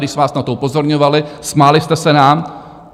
Když jsme vás na to upozorňovali, smáli jste se nám.